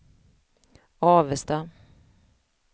Avesta